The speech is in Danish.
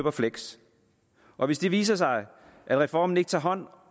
og fleksjob og hvis det viser sig at reformen ikke tager hånd